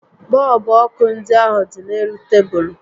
Bọọlbụ ọkụ ndị ahụ dị n'elu tebulu